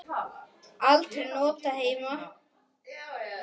Aldrei notað heima.